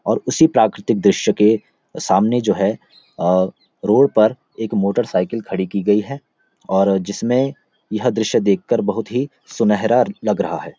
और उसी प्राकृतिक दृश्य के सामने जो है अ रोड पर एक मोटर साइकिल खड़ी की गई है और जिसमें यह दृश्य देखकर बहोत ही सुनहरा लग रहा है।